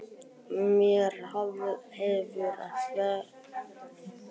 Mér hefur verið fyrirgefið áður en ekki á þennan hátt.